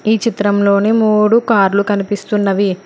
ఈ చిత్రంలోని మూడు కార్లు కనిపిస్తున్నవి.